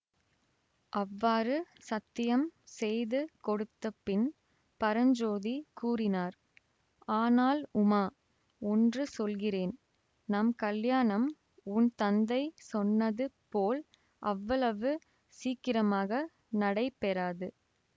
அவ்வாறு சத்தியம் செய்து கொடுத்த பின் பரஞ்சோதி கூறினார் ஆனால் உமா ஒன்று சொல்கிறேன் நம் கல்யாணம் உன் தந்தை சொன்னது போல் அவ்வளவு சீக்கிரமாக நடைபெறாது